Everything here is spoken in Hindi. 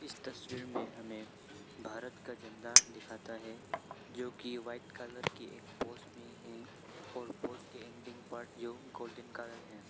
इस तस्वीर में हमें भारत का झंडा दिखाता है जो की वाइट कलर की एक पोस में है और पोस के एंडिंग पार्ट जो गोल्डन कलर है।